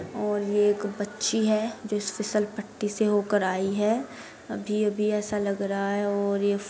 और ये एक बच्ची है जो इस फिसल पट्टी से होकर आई है। अभी-अभी ऐसा लग रहा है और ये --